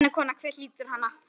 Væna konu, hver hlýtur hana?